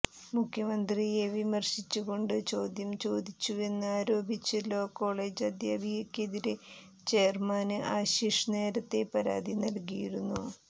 മുഖ്യമന്ത്രിയെ വിമര്ശിച്ച് കൊണ്ട് ചോദ്യം ചോദിച്ചുവെന്ന് ആരോപിച്ച് ലോ കോളേജ് അധ്യാപികയ്ക്കെതിരെ ചെയര്മാന് ആശിഷ് നേരത്തേ പരാതി നല്കിയിരുന്നു